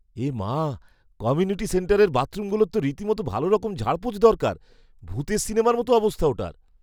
এমা! Community সেন্টারের বাথরুমগুলোর তো রীতিমতো ভালোরকম ঝাড়পোঁছ দরকার। ভূতের সিনেমার মতো অবস্থা ওটার।